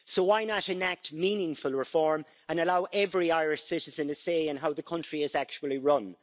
Why not enact meaningful reform and allow every Irish citizen a say in how the country is actually run?